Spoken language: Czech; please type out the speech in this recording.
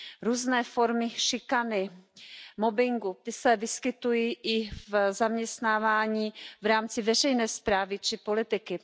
Různé formy šikany, mobbingu, ty se vyskytují i v zaměstnávání v rámci veřejné správy či politiky.